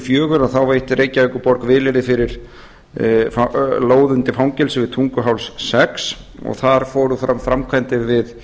sjötíu og fjögur veitti reykjavíkurborg vilyrði fyrir lóð undir fangelsi við tunguháls sex og þar fóru fram framkvæmdir við